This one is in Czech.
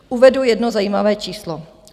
Uvedu jedno zajímavé číslo.